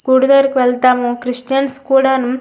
వెల్థము Christians కూడా నూ --